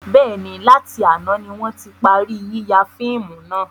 Bẹ́ẹ̀ni, láti àná ni wọn ti parí yíya fíìmù náà.